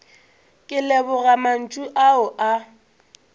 ke leboga mantšu ao a